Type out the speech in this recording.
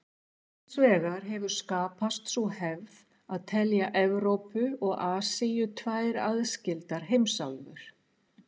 Hins vegar hefur skapast sú hefð að telja Evrópu og Asíu tvær aðskildar heimsálfur.